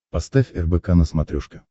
поставь рбк на смотрешке